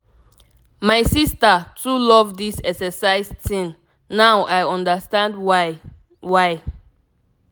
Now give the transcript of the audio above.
my sister too love this exercise thing now i understand why. why.